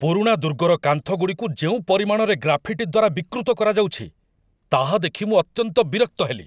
ପୁରୁଣା ଦୁର୍ଗର କାନ୍ଥଗୁଡ଼ିକୁ ଯେଉଁ ପରିମାଣରେ ଗ୍ରାଫିଟି ଦ୍ୱାରା ବିକୃତ କରାଯାଉଛି, ତାହା ଦେଖି ମୁଁ ଅତ୍ୟନ୍ତ ବିରକ୍ତ ହେଲି।